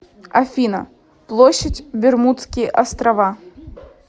афина площадь бермудские острова